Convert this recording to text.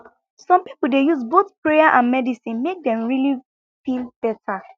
some people dey use both prayer and medicine make dem really feel better